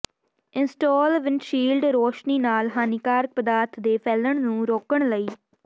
install windshield ਰੌਸ਼ਨੀ ਨਾਲ ਹਾਨੀਕਾਰਕ ਪਦਾਰਥ ਦੇ ਫੈਲਣ ਨੂੰ ਰੋਕਣ ਲਈ